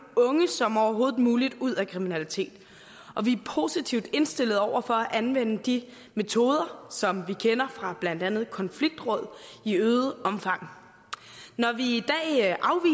unge som overhovedet muligt ud af kriminalitet og vi er positivt indstillet over for at anvende de metoder som vi kender fra blandt andet konfliktråd i øget omfang når vi